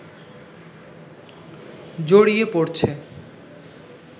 জড়িয়ে পড়ছে